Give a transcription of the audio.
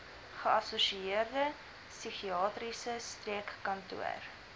geassosieerde psigiatriese streekkantoor